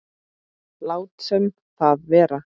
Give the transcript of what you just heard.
Látum það vera.